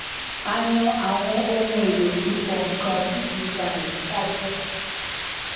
a yan àwọn ohun èlò fífọ nnkan tí kì í ba àyíká jé